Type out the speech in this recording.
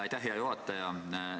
Aitäh, hea juhataja!